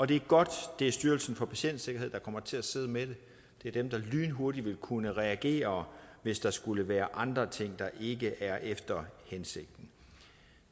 det er godt at det er styrelsen for patientsikkerhed der kommer til at sidde med det det er dem der lynhurtigt vil kunne reagere hvis der skulle være andre ting der ikke er efter hensigten